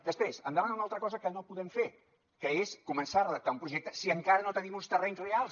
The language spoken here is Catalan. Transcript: després em demana una altra cosa que no podem fer que és començar a redactar un projecte si encara no tenim uns terrenys reals